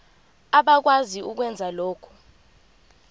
abakwazi ukwenza lokhu